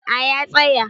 A ya tsaya